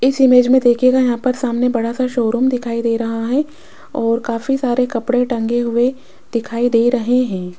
इस इमेज में देखिएगा यहाँ पर सामने बड़ा सा शोरूम दिखाई दे रहा हैं और काफी सारे कपड़े टंगे हुए दिखाई दे रहे हैं।